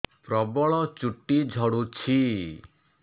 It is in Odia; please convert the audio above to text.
ପ୍ରବଳ ଚୁଟି ଝଡୁଛି